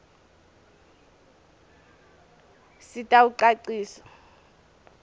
sitawucacisa